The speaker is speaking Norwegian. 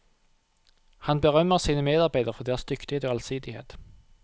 Han berømmer sine medarbeidere for deres dyktighet og allsidighet.